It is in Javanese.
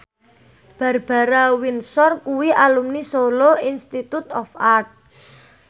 Barbara Windsor kuwi alumni Solo Institute of Art